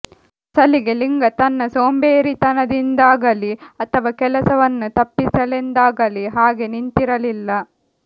ಅಸಲಿಗೆ ಲಿಂಗ ತನ್ನ ಸೋಂಬೇರಿತನದಿಂದಾಗಲಿ ಅಥವಾ ಕೆಲಸವನ್ನು ತಪ್ಪಿಸಲೆಂದಾಗಲಿ ಹಾಗೆ ನಿಂತಿರಲಿಲ್ಲ